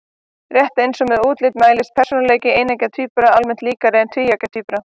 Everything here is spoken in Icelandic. Rétt eins og með útlit mælist persónuleiki eineggja tvíbura almennt líkari en tvíeggja tvíbura.